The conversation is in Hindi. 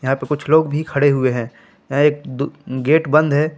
यहां पर कुछ लोग भी खड़े हुए हैं यहां एक दु गेट बंद है।